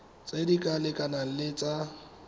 tse di lekanang le tsa